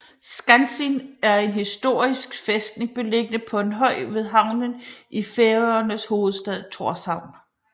Skansin er en historisk fæstning beliggende på en høj ved havnen i Færøernes hovedstad Tórshavn